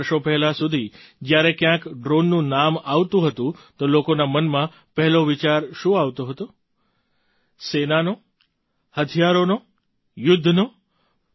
કેટલાંક વર્ષો પહેલાં સુધી જ્યારે ક્યાંક ડ્રૉનનું નામ આવતું હતું તો લોકોના મનમાં પહેલો વિચાર શું આવતો હતો સેનાનો હથિયારોનો યુદ્ધનો